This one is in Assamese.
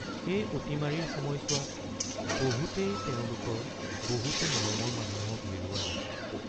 এই অতিমাৰীৰ সময়ছোৱাত বহুতেই তেওঁলোকৰ বহুতো মৰমৰ মানুহক হেৰুৱালে।